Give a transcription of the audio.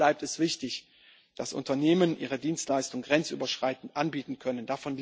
Natürlich bleibt es wichtig, dass Unternehmen ihre Dienstleistungen grenzüberschreitend anbieten können.